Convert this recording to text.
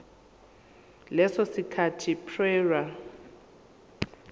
leso sikhathi prior